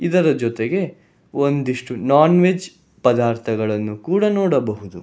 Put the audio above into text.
ಇದರ ಜೊತೆಗೆ ಒಂದಿಷ್ಟು ನಾನ್ ವೆಜ್ ಪದಾರ್ಥಗಳನ್ನು ಕೂಡ ನೋಡಬಹುದು.